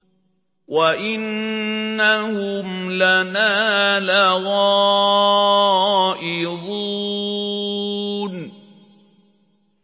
وَإِنَّهُمْ لَنَا لَغَائِظُونَ